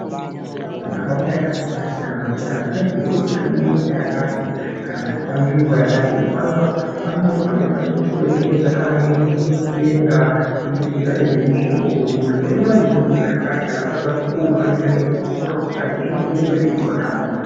Ntaraunda yakasiyana siyana kuti antu aziye kuti tiri munyika yakati kana tiri munzvimbo yakati panonge pane chiro chinenge chakaemeswa mudenga chinenge chichiratidze nzvimbo kuti nzvimbo inoyi inzvimbo yakati kana pari pasikuru anenge ane chikora kwakati chiri nzvimbo iri kana ntaraunda.